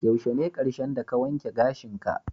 Yaushe ne karshen da ka wanke gashin ka?